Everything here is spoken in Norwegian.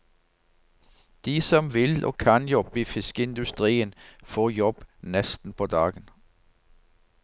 De som vil og kan jobbe i fiskeindustrien, får jobb nesten på dagen.